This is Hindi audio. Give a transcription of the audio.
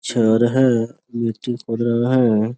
छर है गिट्टी पढ़ल है।